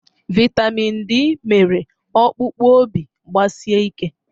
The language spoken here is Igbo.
Vaịtamin D mere okpụkpụ Obi gbasie ike.